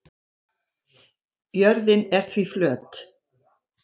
Jörðin er því flöt.